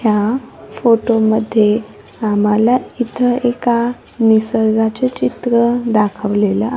ह्या फोटोमध्ये आम्हाला इथं एका निसर्गाचे चित्र दाखवलेलं--